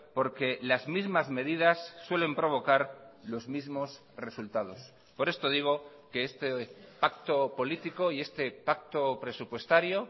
porque las mismas medidas suelen provocar los mismos resultados por esto digo que este pacto político y este pacto presupuestario